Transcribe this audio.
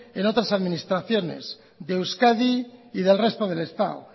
en otras administraciones de euskadi y del resto del estado